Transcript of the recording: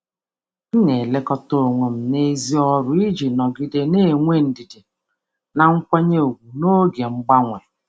M na-elekọta onwe m n’èzí ọrụ iji nọgide na-enwe ndidi na nkwanye ùgwù n’oge mgbanwe.